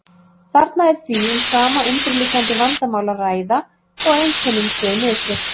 Þarna er því um sama undirliggjandi vandamál að ræða þó að einkennin séu misjöfn.